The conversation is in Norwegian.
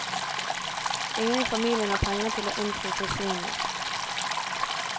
Ingen i familien har penger til å innfri kausjonene.